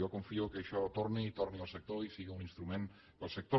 jo confio que això torni i torni al sector i sigui un instrument per al sector